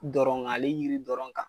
Dɔrɔn kan ale jiri dɔrɔn kan